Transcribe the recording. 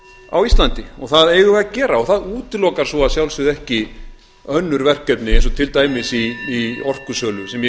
á íslandi og það eigum við að gera og það útilokar svo að sjálfsögðu ekki önnur verkefni eins og til dæmis í orkusölu sem